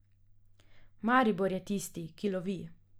Maribor je tisti, ki lovi.